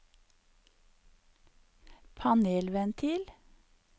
panelventil